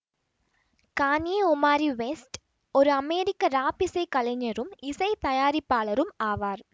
Kanye Omari West ஒரு அமெரிக்க rap இசை கலைஞரும் இசை தயாரிப்பாளரும் ஆவார்